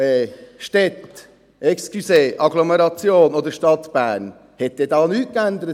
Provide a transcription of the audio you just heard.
In den Städten, entschuldigen Sie, Agglomerationen der Stadt Bern, hat sich da in den letzten 50 oder 100 Jahren nichts geändert?